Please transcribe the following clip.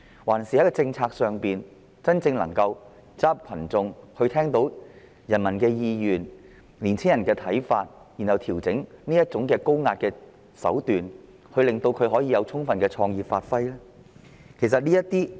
還是，政府在制訂政策時應走進群眾，聆聽人民的意願和年輕人的看法，然後調整高壓手段，讓他們充分發揮創意呢？